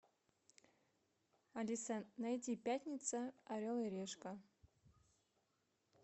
алиса найди пятница орел и решка